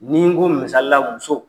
N'i n ko misalila muso